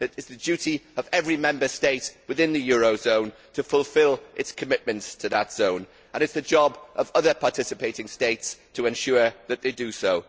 It is the duty of every Member State within the eurozone to fulfil its commitments to that zone and it is the job of other participating states to ensure that they do so.